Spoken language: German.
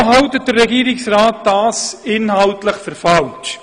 Weshalb hält der Regierungsrat dies inhaltlich für falsch?